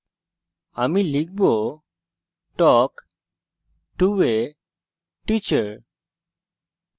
আমি লিখব talk to a teacher